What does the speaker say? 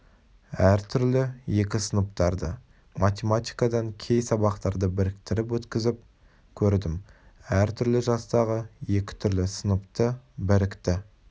әртүрлі екі сыныптарды математикадан кей сабақтарда біріктіріп өткізіп көрдім әр түрлі жастағы екі түрлі сыныпты бірікті